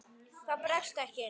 Það bregst ekki.